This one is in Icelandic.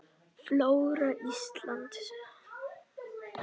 Flóra Íslands